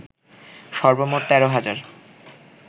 সর্বমোট ১৩ হাজার